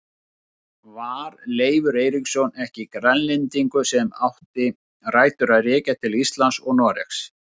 Var Leifur Eiríksson ekki Grænlendingur sem átti rætur að rekja til Íslands og Noregs?